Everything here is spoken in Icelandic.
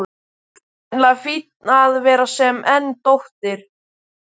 Það er nefnilega fínna að vera sen en dóttir.